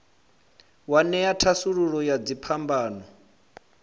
wa ṅea thasululo ya dziphambano